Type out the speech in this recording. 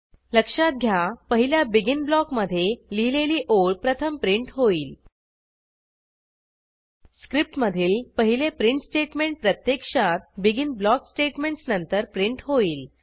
लक्षात घ्या पहिल्या बेगिन ब्लॉकमधे लिहिलेली ओळ प्रथम प्रिंट होईल स्क्रिप्टमधील पहिले प्रिंट स्टेटमेंट प्रत्यक्षात बेगिन ब्लॉक स्टेटमेंटस नंतर प्रिंट होईल